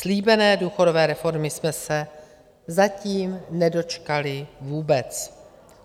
Slíbené důchodové reformy jsme se zatím nedočkali vůbec.